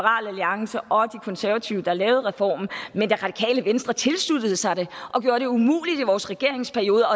alliance og de konservative der lavede reformen men det radikale venstre tilsluttede sig den og gjorde det umuligt at i vores regeringsperiode